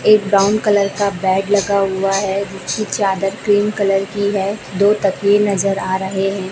एक brown colour का bed लगा हुआ है जिसकी चादर क्रीम कलर की है दो तकिये नजर आ रहे हैं।